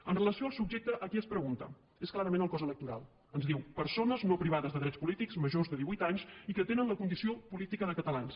amb relació al subjecte a qui es pregunta és clarament el cos electoral ens diu persones no privades de drets polítics majors de divuit anys i que tenen la condició política de catalans